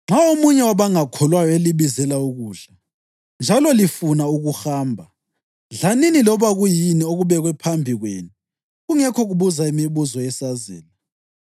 Nxa omunye wabangakholwayo elibizela ukudla njalo lifuna ukuhamba, dlanini loba kuyini okubekwe phambi kwenu kungekho kubuza imibuzo yesazela.